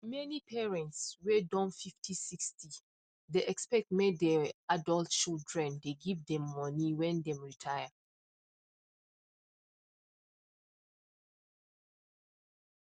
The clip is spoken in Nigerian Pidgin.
many parents whey don 5056 dey expect make they adult children dey give them money when them retire